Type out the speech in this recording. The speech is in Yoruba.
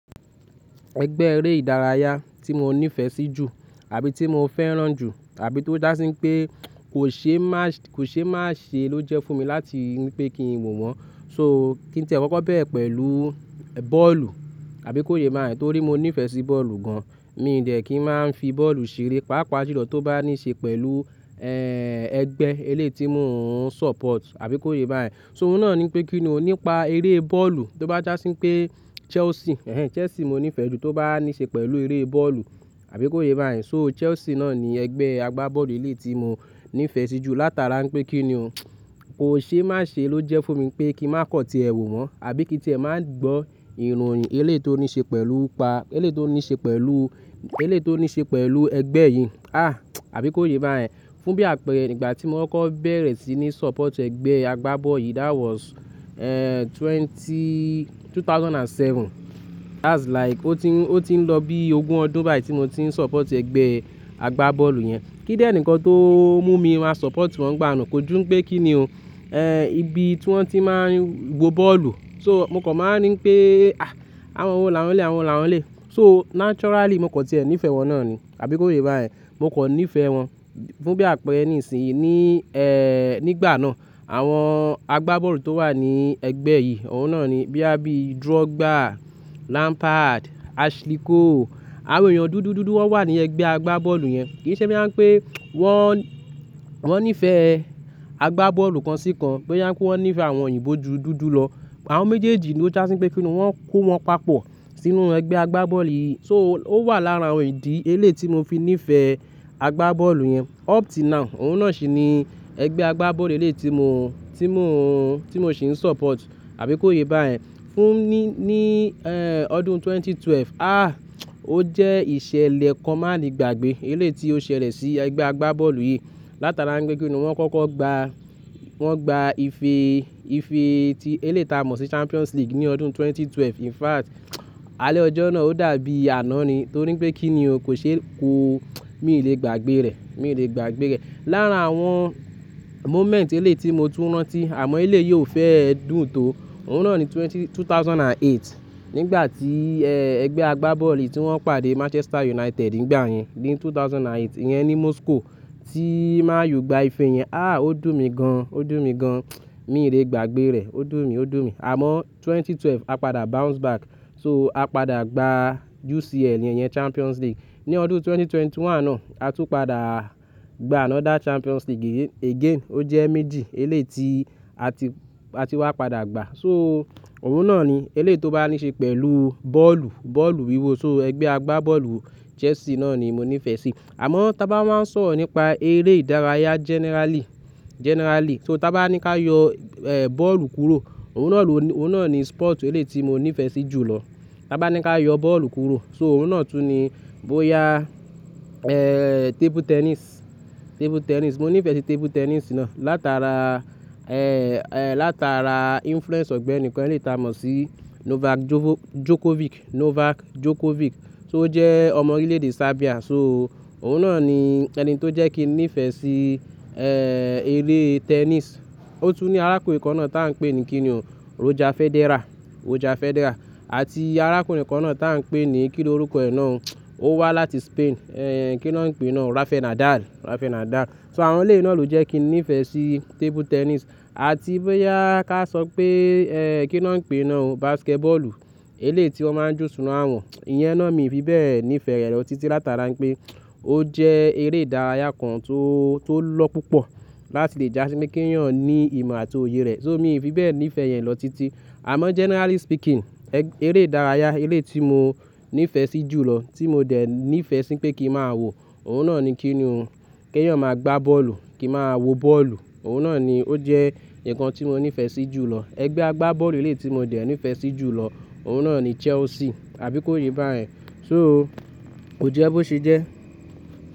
Ẹgbẹ́ eré ìdárayá tí mo nífẹ̀ẹ́ sí jù àbí tí mo fẹ́ràn jù àbí tó já sí pé kò ṣe máṣe, kò ṣe máṣe ló jẹ́ fún mi láti wí pé kí n wò wọ́n. So kí n tìẹ́ kọkọ bẹ́rẹ̀ pẹ̀lú bọ́ọ̀lù àbí kó yé bá yẹn torí mo nífẹ̀ẹ́ sí bọ́ọ̀lù gan. Mi ò dẹ̀ kí n máa ń fi bọ́ọ̀lù ṣeré, pàápàá jùlọ tó bá níí ṣe pẹ̀lú, ẹ́, ẹgbẹ́ elé ti mo ń support àbí kó yé bá yẹn. So oun náà ni pé kí ni òun, nípa eré bọ́ọ̀lù tó bá já sí pé Chelsea, ẹ́, Chelsea mo nífẹ̀ẹ́ jù tó bá níí ṣe pẹ̀lú eré bọ́ọ̀lù àbí kó yé bá yẹn. So Chelsea náà ni ẹgbẹ́ àgbá bọ́ọ̀lù elé tí mo nífẹ̀ẹ́ sí jù látara pé kí ni òun, kò ṣe máṣe ló jẹ́ fún mi pé kí n má kọ̀ ti ẹ wò wọ́n àbí kí n tìẹ́ má gbọ́ ìròyìn elé tó níí ṣe pẹ̀lú pa, elé tó níí ṣe pẹ̀lú, elé tó níí ṣe pẹ̀lú ẹgbẹ́ yìí. À, àbí kó yé ba yẹn. Fún bí àpẹẹrẹ ìgbà tí mo kọ́kọ́ bẹ̀rẹ̀ sí ní support ẹgbẹ́ àgbá bọ́ọ̀lù yìí that was, ẹ́, twenty-- 2007. That's like ó ti ń, ó ti ń lọ bí ogún ọdún báyìí tí mo ti ń support ẹgbẹ́ àgbá bọ́ọ̀lù yẹn. Kí dẹ̀ ni nìkan tó mú mi má support wọn gbà náà kò jú pé kí ni ò, ẹ́, ibi tí wọ́n ti má ń wo bọ́ọ̀lù. So mo kàn máa ń rí pé, à, àwọn wo làwọn elè, àwọn wo làwọn elè. So naturally mo kàn ti ẹ̀ nífẹ̀ẹ́ wọn náà ni àbí kó yé bá yẹn. Mo kò nífẹ̀ẹ́ wọn. Fún bí àpẹẹrẹ nísìnyí ní, ẹ́, nígbà náà àwọn àgbá bọ́ọ̀lù tó wà ní ẹgbẹ́ yìí, ọ̀ún náà ni bíi Drogba, Lampard, Ashley Cole, àwọn èèyàn dúdú dúdú wọ́n wà ní ẹgbẹ́ àgbá bọ́ọ̀lù yẹn. Kì í ṣe bóyá ń pé wọ́n, wọ́n nífẹ̀ẹ́ àgbá bọ́ọ̀lù kan sí kan. Bóyá n pé wọ́n nífẹ̀ẹ́ àwọn òyìnbó dúdú dúdú lọ. Àwọn méjèèjì ló jásí pé kí ni wọ́n kó wọn papọ̀ sínú ẹgbẹ́ àgbá bọ́ọ̀lù yìí. So ó wà lára idì elé tí mo fi nífẹ̀ẹ́ àgbá bọ́ọ̀lù yẹn. Up till now, ọ̀ún náà sì ni ẹgbẹ́ àgbá bọ́ọ̀lù elé tí mo, tí mo, tí mo sì ń support àbí kó yé bá yẹn. Fún ní, ní, ẹ́, ọdún ẹgbẹ̀rún méjì ó lé méjìlá, à, ó jẹ́ ìṣẹ̀lẹ̀ kan má ni gbàgbé elé tí ó ṣẹlẹ̀ sí ẹgbẹ́ àgbá bọ́ọ̀lù yìí látara pé kí ni wọ́n kọ́kọ́ gba, wọ́n gba ife, ife tí elé ti a mọ̀ sí Champions League ní ọdún ẹgbẹ̀rún méjì ó lé méjìlá. In fact, alẹ́ ọjọ́ náà ó dàbí àná ni torí pé kí ni ò kò ṣe kó-- mi ò lè gbàgbé rẹ̀, mi ò lè gbàgbé rẹ̀. Lára àwọn moment elé tí mo tú rán tí àmọ́ elé yìí ò fẹ́ ẹ dùn tó, ọ̀ún náà ni twenty-- 2008 nígbà tí, ẹ́, ẹgbẹ́ àgbá bọ́ọ̀lù yìí tí wọ́n pàdé Manchester United nígbà yẹn ní ẹgbẹ̀rún méjì ó lé mẹ́jọ yẹn ní Moscow tí Man U gba ife yẹn. À, ó dùn mi gan, ó dùn mi gan. Mi ò lè gbàgbé rẹ̀, ó dùn mi, ó dùn mi. Àmọ́ ẹgbẹ̀rún méjì ó lé méjìlá a padà bounce back. So a padà gba UCL yẹn, yẹn Champions League. Ní ọdún ẹgbẹ̀rún méjì ó lé mọ́kànlélógún náà, a tún padà gba another Champions League again. Ó jẹ́ méjì elé tí a ti, a ti wá padà gba. So òun náà ni elé tó bá níí ṣe pẹ̀lú bọ́ọ̀lù, bọ́ọ̀lù wíwo so ẹgbẹ́ àgbá bọ́ọ̀lù Chelsea náà ni mo nífẹ̀ẹ́ sí. Àmọ́ tí a bá wáá ń sọ̀rọ̀ nípa eré ìdárayá generally, generally so tí a bá ní ká yọ, ẹ́, bọ́ọ̀lù kúrò, ọ̀ún náà ló ni, ọ̀ún náà ni sport elé tí mo nífẹ̀ẹ́ sí jù lọ. Bá ní ká yọ bọ́ọ̀lù kúrò so ọ̀ún náà tún ni bóya, ẹ́, table tennis, table tennis. Mo nífẹ̀ẹ́ sí table tennis náà látara, ẹ́, ẹ́, látara influence ọ̀gbẹ́ni kan elé ti a mọ̀ sí Novak Djokovic, Novak Djokovic. To ó jẹ́ ọmọ orílẹ̀-èdè Serbia. So ọ̀ún náà ni ẹni tó jẹ́ kí n nífẹ̀ẹ́ sí, ẹ́, eré tennis. Ó tún ní arákùnrin kan náà tí a ń pè ní kí ni òun, Roger Federer, Roger Federer àti arákùnrin kan náà tí a ń pè ní kí ni orúkọ ẹ̀ náà, ó wá láti Spain, ẹ́, kí ni wọ́n ń pè ẹ náà, Rafael Nadal, Rafael Nadal. So àwọn elé náà ló jẹ́ kí n nífẹ̀ẹ́ sí table tennis. Àti bóyá ká sọ pé, ẹ́, kí ni wọ́n ń pè ẹ náà o, basketball, elé tí wọ́n máa ń ju sinu awọ̀n. Iyẹn náà mi ò fi bẹ́ẹ̀ nífẹ̀ẹ́ rẹ̀ lọ títí látara pé ó jẹ́ eré ìdárayá kan tó, tó lọ́ púpọ̀ láti lè já sí pé kí èèyàn ní ìmọ̀ àti òye rẹ̀. So mi ò fi bẹ́ẹ̀ nífẹ̀ẹ́ iyẹn lọ títí. Àmọ́ generally speaking, ẹ́, eré ìdárayá elé tí mo nífẹ̀ẹ́ sí jù lọ tí mo dẹ̀ nífẹ̀ẹ́ sí pé kí n máa wò, ọ̀ún náà ni kí ni òun, kí èèyàn máa gbá bọ́ọ̀lù, kí n máa wo bọ́ọ̀lù. Òun náà ni ó jẹ́ ǹkan tí mo nífẹ̀ẹ́ sí jù lọ. Ẹgbẹ́ àgbá bọ́ọ̀lù elé tí mo dẹ̀ nífẹ̀ẹ́ sí jù lọ, ọ̀ún náà ni Chelsea àbí kó yé bá yẹn. So ó jẹ́ bó ṣe jẹ́.